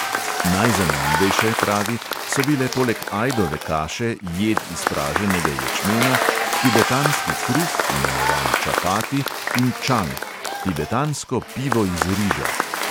Najzanimivejše, pravi, so bile poleg ajdove kaše jed iz praženega ječmena, tibetanski kruh, imenovan čapati, in čang – tibetansko pivo iz riža.